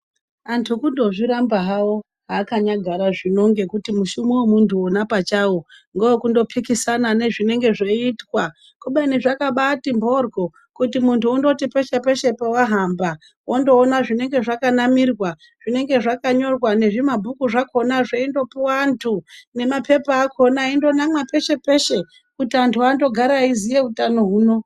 Antu kundozviramba havo zvaakanyagara zvino ngekuti mushumo vemuntu ona pachavo ngevekundopikisana nezvinenge zveitwa. Kubeni zvakabati mhoryo kuti muntu undoti peshe-peshe pavahamba. Vondoona zvinenge zvakanamirwa zvinenge zvakanyorwa ngezvimabhuku zvakona zveindopuva antu. Nemapepa akona eindo namwa peshe-peshe kuti antu andogare eiziya utano huno.